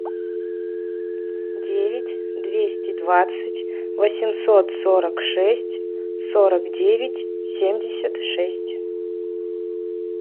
девять двести двадцать восемьсот сорок шесть сорок девять семьдесят шесть